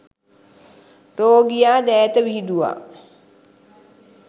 රෝගියා දෑත විහිදුවා